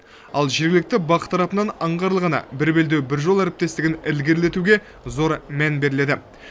ал жергілікті бақ тарапынан аңғарылғаны бір белдеу бір жол әріптестігін ілгерілетуге зор мән беріледі